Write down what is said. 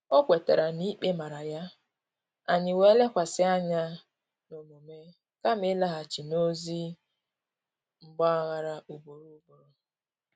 O kwetara na-ikpe mara ya, anyị wee lekwasị anya n’omume kama ịlaghachi n’ozị mgbaghara ugboro ugboro